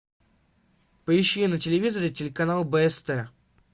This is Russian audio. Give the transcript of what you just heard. поищи на телевизоре телеканал бст